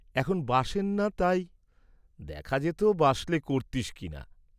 এখন বাসেন না তাই, দেখা যেত, বাসলে কর্‌তিস্ কি না।